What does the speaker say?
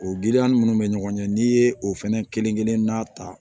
O giriya ni minnu bɛ ɲɔgɔn ɲɛ n'i ye o fɛnɛ kelen kelenna ta